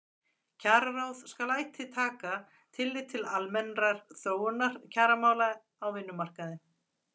Kjararáð skal ætíð taka tillit til almennrar þróunar kjaramála á vinnumarkaði.